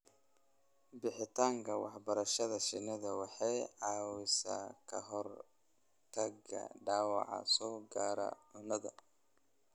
Bixinta waxbarashada shinnidu waxay caawisaa ka hortagga dhaawaca soo gaara cunnada.